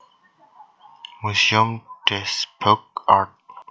Muséum des Beaux Arts